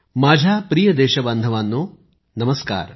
माझ्या प्रिय देशबांधवानो नमस्कार